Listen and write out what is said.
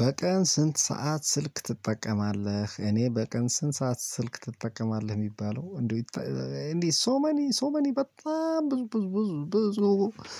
በቀን ስንት ሰዓት ስልክ ትጠቀማለህ? እኔ በቀን ስንት ሰዓት ስልክ ትጠቀማለህ የሚባለው እንዴ እንዴ ሶ መኒ ሶ መኒ በጣም ብዙ ብዙ ብዙ ብዙ